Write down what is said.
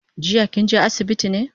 Jiya kinje asibiti ne?